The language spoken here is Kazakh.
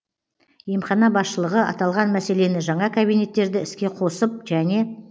емхана басшылығы аталған мәселені жаңа кабинеттерді іске қосып және